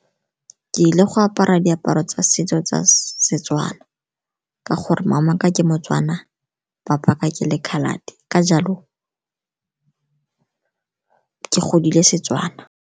Ke ile go apara diaparo tsa setso tsa Setswana ka gore mama'aka ke moTswana, papa'aka ke le-coloured-e ka jalo ke godile Setswana.